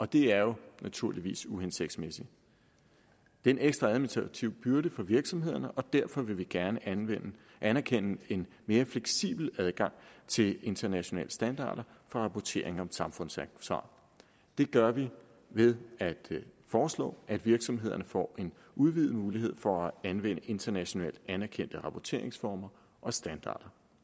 det er jo naturligvis uhensigtsmæssigt det er en ekstra administrativ byrde for virksomhederne derfor vil vi gerne anerkende en mere fleksibel adgang til internationale standarder for rapportering om samfundsansvar det gør vi ved at foreslå at virksomhederne får en udvidet mulighed for at anvende internationalt anerkendte rapporteringsformer og standarder